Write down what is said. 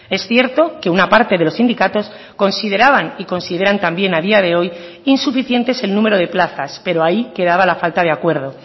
es cierto que una parte de los sindicatos consideraban y consideran también a día de hoy insuficientes el número de plazas pero ahí quedaba la falta de acuerdo